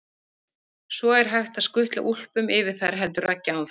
Svo er hægt að skutla úlpum yfir þær heldur Raggi áfram.